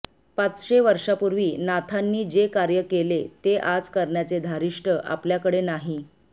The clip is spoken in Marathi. पाचशे वर्षांपूर्वी नाथांनी जे कार्य केले ते आज करण्याचे धारिष्ट आपल्याकडे नाही